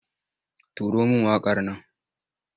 Turo min waƙar nan!